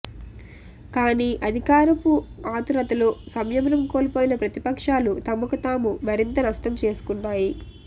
కాని అధికారపు ఆతురతలో సంయమనం కోల్పోయిన ప్రతిపక్షాలు తమకు తాము మరింత నష్టంచేసుకున్నాయి